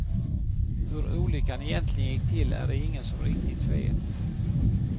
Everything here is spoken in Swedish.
Hur olyckan egentligen gick till är det ingen som riktigt vet.